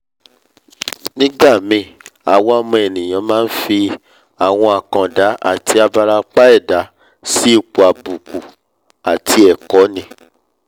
nígbàmíì àwa ọmọ ènìà máa nfi àwọn àkàndá àti abarapa ẹ̀dá si ipò àbùkù àti ẹ̀kọ̀ ni